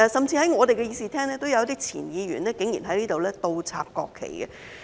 在我們議事廳裏，也曾有位前議員竟然倒插國旗。